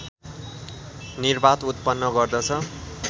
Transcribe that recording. निर्वात उत्पन्न गर्दछ